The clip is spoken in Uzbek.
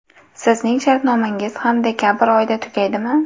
Sizning shartnomangiz ham dekabr oyida tugaydimi?